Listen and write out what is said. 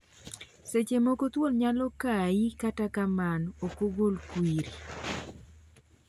Seche moko thuol nyalo kai kata kamano ok ogol kwiri.